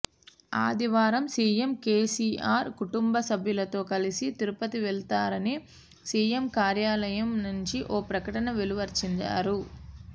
ఆదివారం సిఎం కెసిఆర్ కుటుంబ సభ్యులతో కలిసి తిరుపతి వెళతారని సిఎం కార్యాలయం నుంచి ఓ ప్రకటన వెలువరించారు